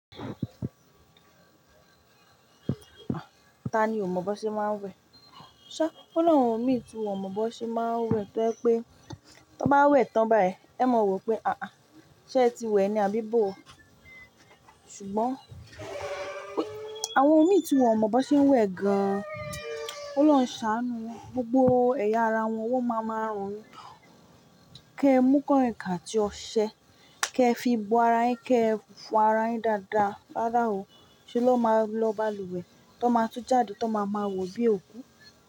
Ta ni ò mọ̀ bó ṣe máa ń wẹ̀? Ṣá, ọ lawon mi, tí wọn ò mọ̀ bó ṣe máa ń wẹ̀ tó ẹ pé, tó bá wẹ̀ tán bái, ẹ mọ wò pé àáá, ṣé ẹ ti wẹ̀ ni, àbí bó? Ṣùgbọ́n àwọn mí tí wọn ò mọ̀ bó ṣe ń wẹ̀ gan an, Ọlọ́run ṣàánú won, gbogbo ẹ̀yà ara wọn, wọ́n máa máa rùn. Kẹ mú kaiǹkain atí óṣẹ, kẹ fi gbo ara yin, kẹ fo ara yin dáadáa. Rárá o, ṣé lọ́ máa lọ balùwẹ̀ tó máa tú jáde, tó máa ma wò bí òkú?